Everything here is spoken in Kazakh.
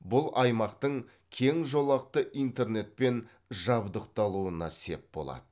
бұл аймақтың кең жолақты интернетпен жабдықталуына сеп болады